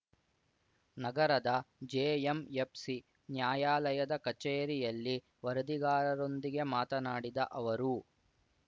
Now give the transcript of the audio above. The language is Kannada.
ನಗರದ ಜೆ ಎಂ ಎಫ್ ಸಿ ನ್ಯಾಯಾಲಯದ ಕಚೇರಿಯಲ್ಲಿ ವರದಿಗಾರರೊಂದಿಗೆ ಮಾತನಾಡಿದ ಅವರು